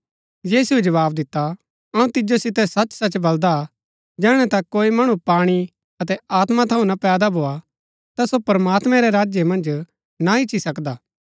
यीशुऐ जवाव दिता अऊँ तिजो सितै सचसच बलदा हा जैहणै तक कोई मणु पाणी अतै आत्मा थऊँ ना पैदा भोआ ता सो प्रमात्मैं रै राज्य मन्ज ना ईच्ची सकदा